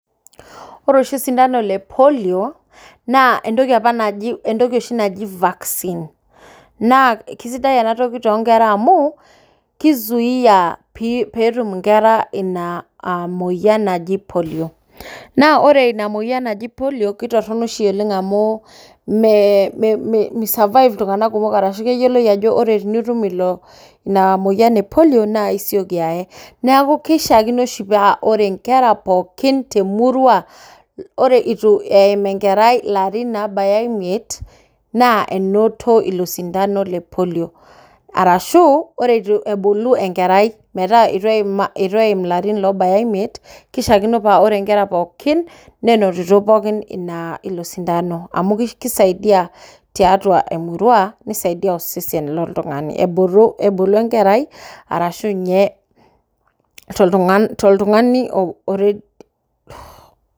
Ore oshi osindano le polio naa entoki oshi naaji vaccine naa kisaidai ena amu kizuia pee metum enkera ena moyian naaji polio naa ore ena moyian najii polio naa kitorrono oshi oleng amu misurvive keyioloi Ajo ore pee etum enayian naa esioki aye neeku kishakino paa ore enkera pookin temurua ore eitu ebaya enkerai larin oo baya emiet naa enoto elo sindano lepolio ashu ore eitu ebulu metaa eitu etum elarin loora emiet kishakino paa ore enkara pookin nenotito pookin ena ile sindano amu kisaidia tiatua emurua nisaidia osesen loo oltung'ani ebulu enkerai arashu too oltung'ani